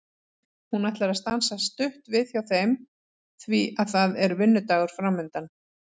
Hún ætlar að stansa stutt við hjá þeim því að það er vinnudagur framundan.